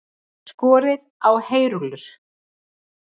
Skorið á heyrúllur